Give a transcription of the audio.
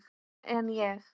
En ég?